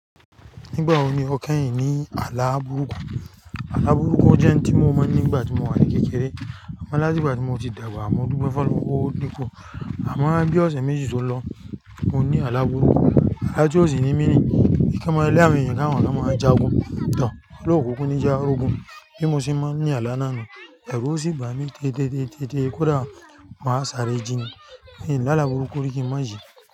Nígbà wo ni o kẹ́yìn ní àlá burúkú? Àlá burúkú jẹ́ ohun tí mo mọ̀ nígbà tí mo wà ní kékeré àmọ́ láti ìgbà tí mo ti dàgbà àmọ́ dúpe f'ọlọ́rùn pé o di ku. Àmọ́ bí ọ̀sẹ̀ méjì tó lọ mo ní àlá burúkú, alá ti òsì ní mí ní, ìkẹ́mọlẹ̀ ilé mi nìkan àwọn lá máa ń jagun. Tàn, olókùkú ni já ogun bí mo ṣe máa ń ní àlá iná nu, ẹ̀rù sì ń bà mí tẹ́tẹ́tẹ́tẹ́tẹ́ kódà máa sáré jí ni. Ní àlá burúkú rí kí ń máa jí.